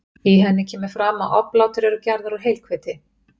í henni kemur fram að oblátur eru gerðar úr heilhveiti